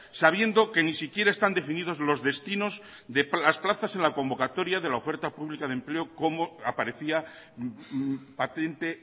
sabiendo que ni siquiera están definidos los destinos de las plazas en la convocatoria de la oferta pública de empleo como aparecía patente